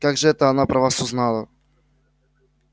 как же это она про вас узнала